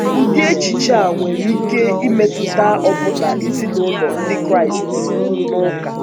Ụdị echiche a nwere ike imetụta ọbụna ezinụlọ Ndị Kraịst ezinụlọ Ndị Kraịst na ụka.